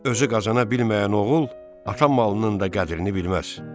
Özü qazana bilməyən oğul ata malının da qədrini bilməz.